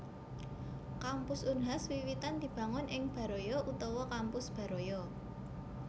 Kampus Unhas wiwitan dibangun ing Baraya utawa Kampus Baraya